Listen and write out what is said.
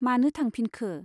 मानो थांफिनखो ?